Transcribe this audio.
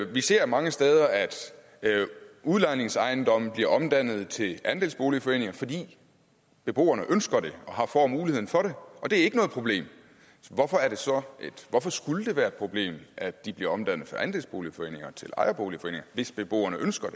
vi ser mange steder at udlejningsejendomme bliver omdannet til andelsboligforeninger fordi beboerne ønsker det og får muligheden for og det er ikke noget problem hvorfor skulle det så være et problem at de bliver omdannet fra andelsboligforeninger til ejerboligforeninger hvis beboerne ønsker